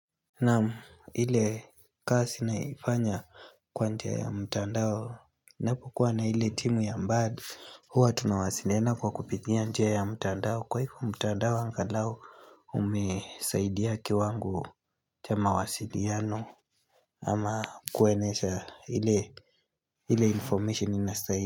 Naam ile kasi naifanya kwa njia ya mtandao Napo kuwa na ile timu ya mbali huwa tunawasiliana kwa kupitia njia ya mtandao Kwa hivo mtandao angalau umesaidia kiwango cha mawasiliano ama kueneza ile ile information inasaidia.